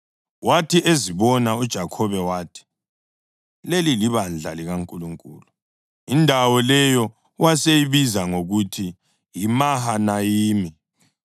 Wathi ezibona uJakhobe wathi, “Leli libandla likaNkulunkulu!” Indawo leyo waseyibiza ngokuthi yiMahanayimi.